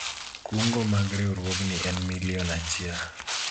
kungo mag riwruogni en milion achiel